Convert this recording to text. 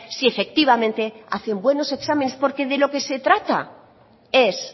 si efectivamente hacen buenos exámenes porque de lo que se trata es